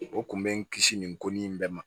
O kun bɛ n kisi nin ko nin bɛɛ ma